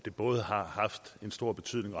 stor betydning